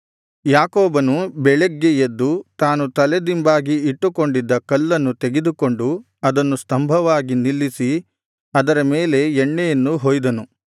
ಯಾಕೋಬನು ಬೆಳಗ್ಗೆ ಎದ್ದು ತಾನು ತಲೆದಿಂಬಾಗಿ ಇಟ್ಟುಕೊಂಡಿದ್ದ ಕಲ್ಲನ್ನು ತೆಗೆದುಕೊಂಡು ಅದನ್ನು ಸ್ತಂಭವಾಗಿ ನಿಲ್ಲಿಸಿ ಅದರ ಮೇಲೆ ಎಣ್ಣೆಯನ್ನು ಹೊಯ್ದನು